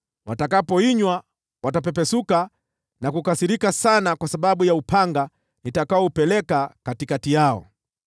Watakapoinywa, watapepesuka na kukasirika sana kwa sababu ya upanga nitakaoupeleka katikati yao.”